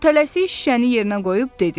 O tələsi şüşəni yerinə qoyub dedi: